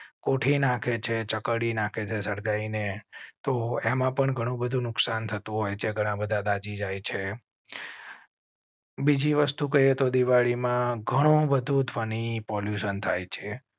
કોઠી નાખે છે ચક ડી નાખે છે. સગાઈ ને તો એમાં પણ ઘણું બધું નુકસાન થતું હોય છે. ઘણા બધા દાઝી જાય છે. બીજી વસ્તુ કહે તો દિવાળી માં ઘણું બધું જ ફની પોલ્યૂશન થાય છે